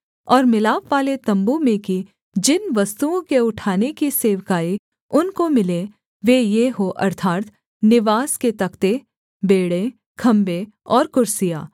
और मिलापवाले तम्बू में की जिन वस्तुओं के उठाने की सेवकाई उनको मिले वे ये हों अर्थात् निवास के तख्ते बेंड़े खम्भे और कुर्सियाँ